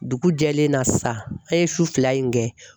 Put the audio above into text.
Dugu jɛlen na sisan an ye su fila in kɛ